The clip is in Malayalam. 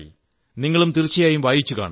നിങ്ങളും തീർച്ചയായും വായിച്ചുകാണും